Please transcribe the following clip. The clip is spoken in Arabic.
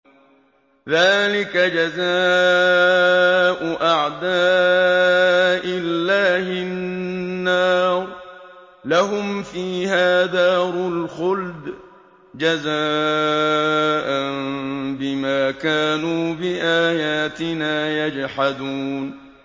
ذَٰلِكَ جَزَاءُ أَعْدَاءِ اللَّهِ النَّارُ ۖ لَهُمْ فِيهَا دَارُ الْخُلْدِ ۖ جَزَاءً بِمَا كَانُوا بِآيَاتِنَا يَجْحَدُونَ